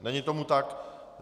Není tomu tak.